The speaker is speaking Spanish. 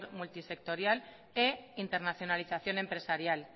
multisectorial e internacionalización empresarial